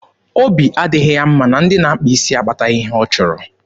Obi adịghị ya mma na ndị na-akpa isi akpataghị ya ihe ọ chọrọ.